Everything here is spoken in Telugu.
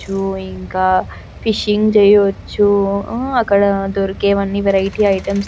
వచ్చు ఇంకా ఫిషింగ్ చేయవచ్చు అక్కడ దొరికేవి అన్ని వెరైటీ ఐటమ్స్ --